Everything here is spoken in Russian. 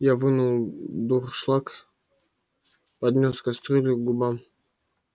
я вынул дуршлаг поднёс кастрюлю к губам